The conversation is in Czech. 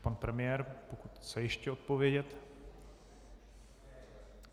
Pan premiér, pokud chce ještě odpovědět.